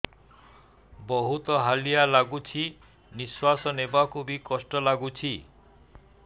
ବହୁତ୍ ହାଲିଆ ଲାଗୁଚି ନିଃଶ୍ବାସ ନେବାକୁ ଵି କଷ୍ଟ ଲାଗୁଚି